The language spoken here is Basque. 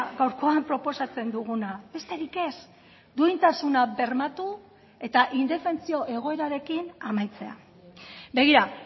gaurkoan proposatzen duguna besterik ez duintasuna bermatu eta indefentsio egoerarekin amaitzea begira